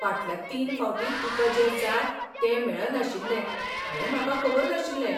फाटल्या तीन फावटीं तुका जें जाय तें मेळनाशिल्लें हें म्हाका खबर नाशिल्लें.